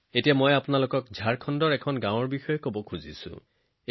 এতিয়া ঝাৰখণ্ডৰ এখন জনজাতীয় গাঁৱৰ কথা কব বিচাৰিছো